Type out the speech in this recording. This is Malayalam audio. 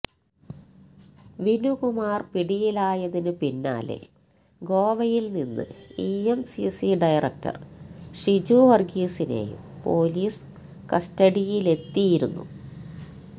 വിനുകുമാര് പിടിയിലായതിന് പിന്നാലെ ഗോവയില് നിന്ന് ഇഎംസിസി ഡയറക്ടര് ഷിജു വര്ഗീസിനെയും പൊലീസ് കസ്റ്റഡിയിലെത്തിയിരുന്നു